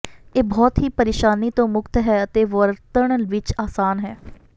ਇਹ ਬਹੁਤ ਹੀ ਪਰੇਸ਼ਾਨੀ ਤੋਂ ਮੁਕਤ ਹੈ ਅਤੇ ਵਰਤਣ ਵਿਚ ਆਸਾਨ ਹੈ